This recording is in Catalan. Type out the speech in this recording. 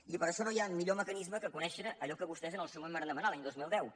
i per ai·xò no hi ha major mecanisme que conèixer allò que vostès en el seu moment varen demanar l’any dos mil deu